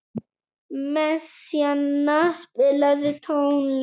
Messíana, spilaðu tónlist.